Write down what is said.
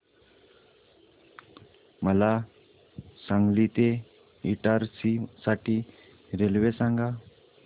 मला सांगली ते इटारसी साठी रेल्वे सांगा